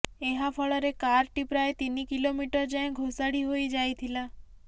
ଏହାଫଳରେ କାରଟି ପ୍ରାୟ ତିନି କିଲୋମିଟରଯାଏଁ ଘୋଷାଡ଼ି ହୋଇ ଯାଇଥିଲା